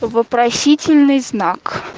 вопросительный знак